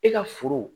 E ka foro